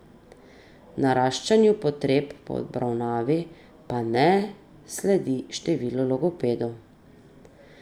Naraščanju potreb po obravnavi pa ne sledi število logopedov.